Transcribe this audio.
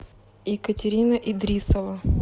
екатерина идрисова